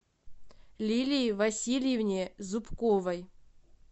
лилии васильевне зубковой